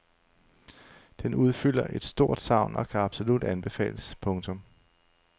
Den udfylder et stort savn og kan absolut anbefales. punktum